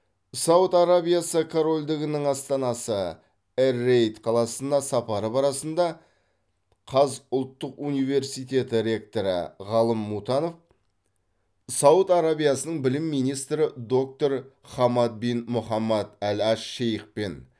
сауд арабиясы корольдігінің астанасы эр рияд қаласына сапары барысында қаз ұлттық университеті ректоры ғалым мұтанов сауд арабиясының білім министрі доктор хамад бин мұхаммад әл аш шейхпен